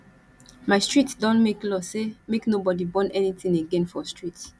my street don make law say make nobodi burn anytin again for street